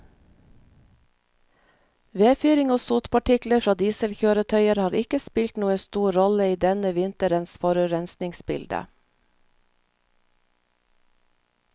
Vedfyring og sotpartikler fra dieselkjøretøyer har ikke spilt noen stor rolle i denne vinterens forurensningsbilde.